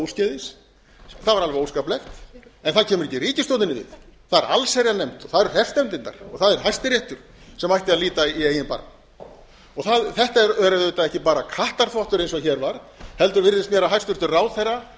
úrskeiðis það var alveg óskaplegt en það kemur ekki ríkisstjórnin við það er allsherjarnefnd og það eru hreppsnefndirnar og það er hæstiréttur sem ætti að líta í eigin barm þetta er auðvitað ekki bara kattarþvottur eins og hér var heldur virðist mér að hæstvirtur ráðherra